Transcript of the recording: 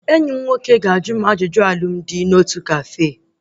Enyi m nwoke ga-ajụ m ajụjụ alụmdi na otu kafe